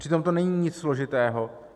Přitom to není nic složitého.